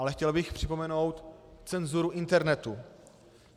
Ale chtěl bych připomenout cenzuru internetu.